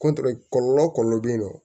kɔlɔlɔ kɔlɔlɔ be yen nɔ